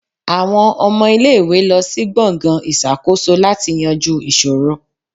Awọn ọmọ ile-iwe lọ si gbongan iṣakoso lati yanju iṣoro.